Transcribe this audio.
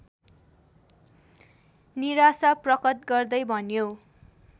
निराशा प्रकट गर्दै भन्यो